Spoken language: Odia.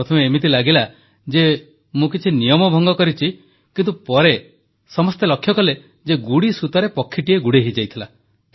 ପ୍ରଥମେ ଏମିତି ଲାଗିଲା ଯେ ମୁଁ କିଛି ନିୟମ ଭଙ୍ଗ କରିଛି କିନ୍ତୁ ପରେ ସମସ୍ତେ ଲକ୍ଷ୍ୟ କଲେ ଯେ ଗୁଡ଼ିସୂତାରେ ପକ୍ଷୀଟିଏ ଗୁଡ଼େଇ ହୋଇଯାଇଥିଲା